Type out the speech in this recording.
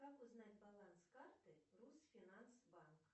как узнать баланс карты рус финанс банк